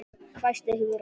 hvæsti Hugrún.